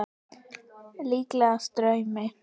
Líkast draumi.